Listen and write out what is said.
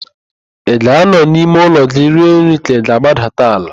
Ị ga-anọ n'ime ụlọ gị rie nri ka ị ga-agbadata ala?